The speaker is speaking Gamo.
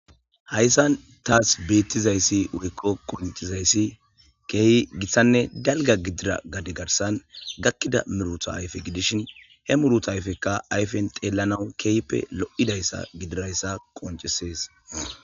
hayssan taas beettizayssi woyko qoncizayssi keehi gitthanne dalga gidira gade garsan gakkida miruta ayfe gidishin he muruta ayfekka ayfen xeellanawu keehppe lo7idayssa gidirayssa qoncesees